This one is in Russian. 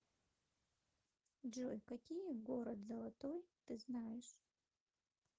джой какие город золотой ты знаешь